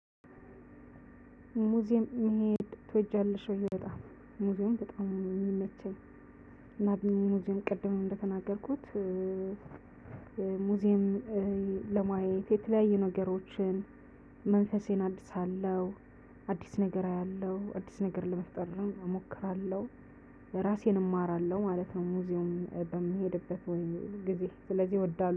ሙዚየም መሄድ ትወጃለሽ? በጣም ሙዚየም በጣም ነው እሚመቸኝ። እና ሙዚየም ቅድም እንደተናገርኩት። ሙዚየም ለማየት የተለያዩ ነገሮችን መንፈሴን አድሳለሁ። አዲስ ነገር አያለሁ አዲስ ነገር ለመፍጠር ነው እሞክራለሁ። ለራሴን እማራለሁ ማለት ነው። ሙዚየም በምሄድበት ወይም ጊዜ ስለዚህ እወዳለሁ